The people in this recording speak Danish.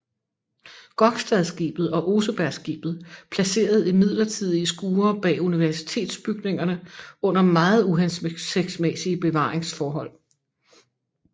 Gokstadskibet og Osebergskibet placeret i midlertidige skure bag Universitetsbygningerne under meget uhensigtsmæssige bevaringsforhold